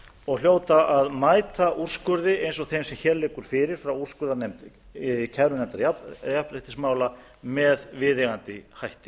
og hljóta að mæta úrskurði eins og þeim sem hér liggur fyrir frá úrskurðarnefnd kærunefndar jafnréttismála með viðeigandi hætti